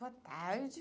Boa tarde.